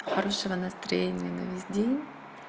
хорошего настроения на весь день